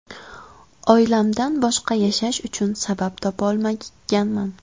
Oilamdan boshqa yashash uchun sabab topa olmaganman.